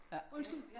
Undskyld